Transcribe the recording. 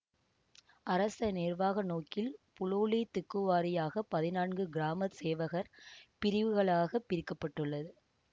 அரச நிர்வாக நோக்கில் புலோலி திக்குவாரியாக பதினான்கு கிராம சேவகர் பிரிவுகளாக பிரிக்க பட்டுள்ளது